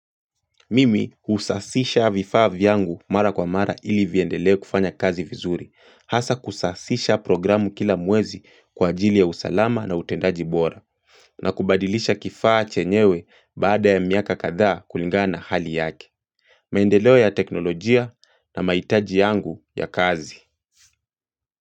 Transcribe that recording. Mimi husasisha vifaa vyangu mara kwa mara ili viendele kufanya kazi vizuri, hasa kusasisha programu kila mwezi kwa ajili ya usalama na utendaji bora na kubadilisha kifaa chenyewe baada ya miaka katha kulingana hali yake maendeleo ya teknolojia na mahitaji yangu ya kazi.